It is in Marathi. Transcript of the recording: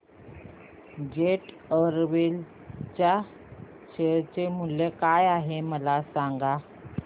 जेट एअरवेज च्या शेअर चे मूल्य काय आहे मला सांगा